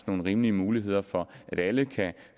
nogle rimelige muligheder for at alle kan